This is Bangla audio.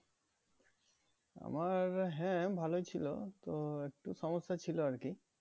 আমার হ্যাঁ ভালোই ছিল তো একটু সমস্যা ছিল আরকি